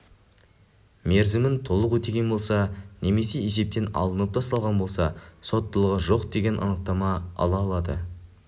мерзімін толық өтеген болса немесе есептен алынып тасталған болса соттылығы жоқ деген анықтама ала алады